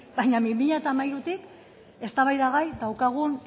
baina bi mila hamairutik eztabaidagai daukagun